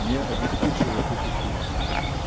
не обеспечивает эти функции